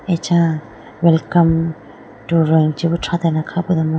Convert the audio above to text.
acha welcome to roing chibi thratelane kha podomo.